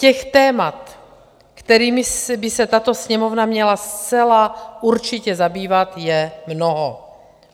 Těch témat, kterými by se tato Sněmovna měla zcela určitě zabývat, je mnoho.